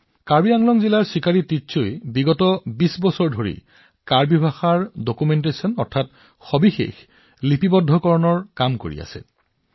কাৰ্বি আংলং জিলাৰ চিকাৰী টিচৌয়ে যোৱা ২০ বছৰ ধৰি কাৰ্বি ভাষাৰ নথি পত্ৰ প্ৰস্তুত কৰি আছে